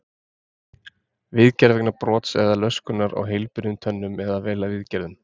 Viðgerð vegna brots eða löskunar á heilbrigðum tönnum eða vel viðgerðum.